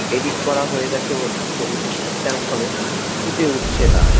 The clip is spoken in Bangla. এডিট করা হয়ে গেছে বলে ছবিটি ঠিকঠাক ভাবে ফুটে উঠছে না।